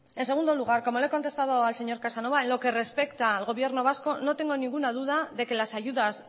en segundo lugar como le he contestado al señor casanova en lo que respecta al gobierno vasco no tengo ninguna duda de que las ayudas